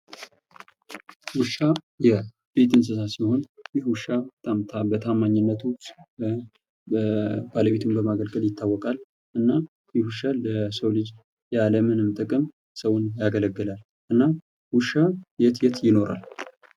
ዉሻ የቤት እንስሳ ሲሆን ይህ ዉሻ በታማኝነቱ ባለቤቱን በማገልገል ይታወቃል። እና ይህ ዉሻ ለሰዉ ልጅ ያለምንም ጥቅም ለሰዉ ሲያገለግል ይኖራል። እና ዉሻ የት የት ይኖራል?